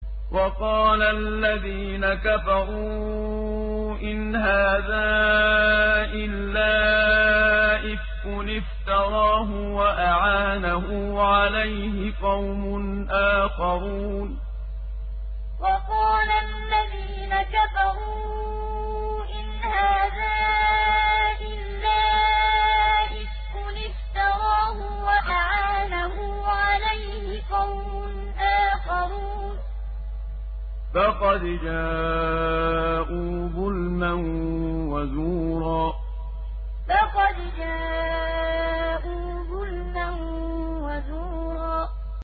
وَقَالَ الَّذِينَ كَفَرُوا إِنْ هَٰذَا إِلَّا إِفْكٌ افْتَرَاهُ وَأَعَانَهُ عَلَيْهِ قَوْمٌ آخَرُونَ ۖ فَقَدْ جَاءُوا ظُلْمًا وَزُورًا وَقَالَ الَّذِينَ كَفَرُوا إِنْ هَٰذَا إِلَّا إِفْكٌ افْتَرَاهُ وَأَعَانَهُ عَلَيْهِ قَوْمٌ آخَرُونَ ۖ فَقَدْ جَاءُوا ظُلْمًا وَزُورًا